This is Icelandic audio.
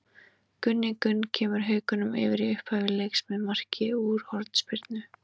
Gunni Gunn kemur Haukum yfir í upphafi leiks með marki úr hornspyrnu.